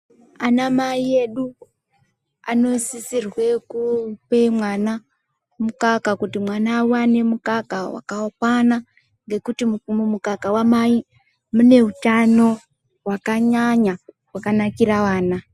Anamai edu anosisirwe kupe mwana mukaka, kuti mwana awane mukaka wakakwana, nekuti mumukaka wamai mune utano wakanyanya, wakanakira vana.